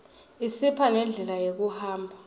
isipha nendlela yekuhamba